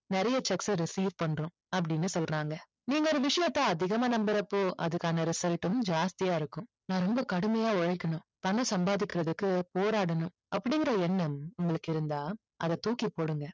நிறைய cheques அ recieve பண்ணுறோம் அப்படின்னு சொல்றாங்க நீங்க ஒரு விசயத்த அதிகமா நம்புறப்போ அதற்கான result உம் ஜாஸ்தியா இருக்கும் நான் ரொம்ப கடுமையா உழைக்கணும் பணம் சம்பாதிக்கிறதுக்கு போராடணும் அப்படிங்கற எண்ணம் உங்களுக்கு இருந்தா அதை தூக்கி போடுங்க